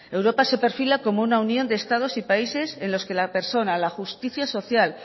europa se perfila como una unión de estados y países en la que la persona la justicia social